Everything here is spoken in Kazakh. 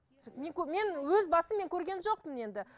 мен мен өз басым мен көрген жоқпын енді